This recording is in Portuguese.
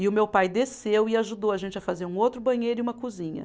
E o meu pai desceu e ajudou a gente a fazer um outro banheiro e uma cozinha.